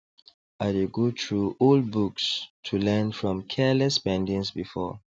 i dey go through old books to learn from careless spendings before